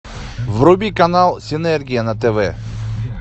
вруби канал синергия на тв